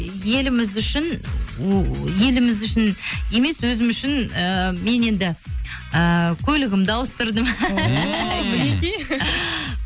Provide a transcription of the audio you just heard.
еліміз үшін еліміз үшін емес өзім үшін ыыы мен енді ыыы көлігімді ауыстырдым